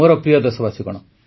ମୋର ପ୍ରିୟ ଦେଶବାସୀଗଣ